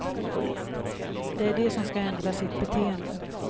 Det är de som ska ändra sitt beteende.